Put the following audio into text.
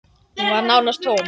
Hún var nánast tóm.